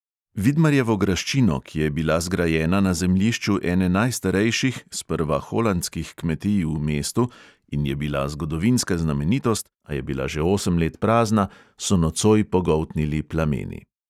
Vidmarjevo graščino, ki je bila zgrajena na zemljišču ene najstarejših, sprva holandskih kmetij v mestu, in je bila zgodovinska znamenitost, a je bila že osem let prazna, so nocoj pogoltnili plameni.